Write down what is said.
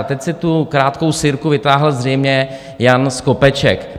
A teď si tu krátkou sirku vytáhl zřejmě Jan Skopeček.